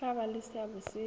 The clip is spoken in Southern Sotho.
tla ba le seabo se